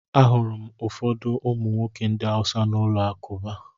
Ahụrụ m ụfọdụ ụmụ nwoke ndị Hausa n’ụlọ alakụba.